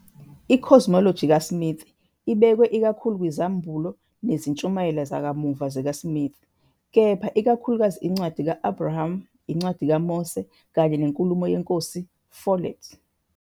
I-cosmology kaSmith ibekwe ikakhulu kwizambulo nezintshumayelo zakamuva zikaSmith, kepha ikakhulukazi iNcwadi ka-Abraham, iNcwadi kaMose kanye nenkulumo yeNkosi Follett.